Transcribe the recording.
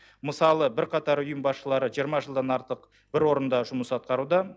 мысалы бірқатар ұйым басшылары жиырма жылдан артық бір орында жұмыс атқаруда